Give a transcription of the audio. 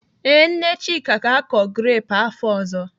Ee, Nne Chika ga-akọ grepụ afọ ọzọ.